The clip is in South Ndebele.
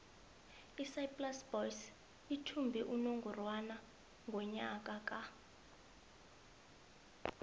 isaaiplas boys ithumbe unongorwana ngonyaka ka